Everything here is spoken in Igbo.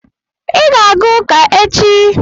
Ị ga-aga ụka echi